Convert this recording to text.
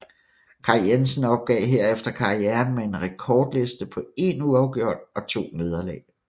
Kaj Jensen opgav herefter karrieren med en rekordliste på én uafgjort og to nederlag